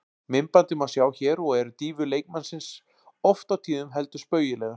Myndbandið má sjá hér og eru dýfur leikmannsins oft á tíðum heldur spaugilegar.